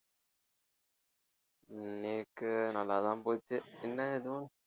நேக்கு நல்லாதான் போச்சு என்ன எதுவும்